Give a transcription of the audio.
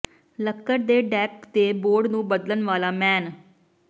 ਲੱਕੜ ਦੇ ਡੈਕ ਦੇ ਬੋਰਡ ਨੂੰ ਬਦਲਣ ਵਾਲਾ ਮੈਨ